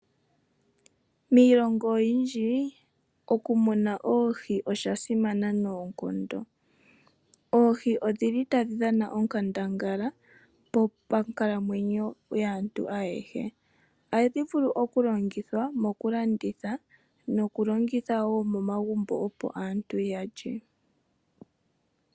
Miilongo oyindji, okumuna oohi osha simana noonkondo. Oohi odhi li tadhi dhana onkandangala monkalamwenyo yaantu ayehe. Ohadhi vulu okulandithwa nokuliwa wo momagumbo.